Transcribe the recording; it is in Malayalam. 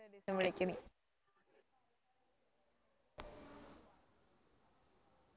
ഒരു ദിവസം വിളിക്ക് നീ